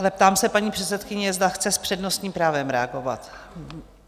Ale ptám se paní předsedkyně, zda chce s přednostním právem reagovat?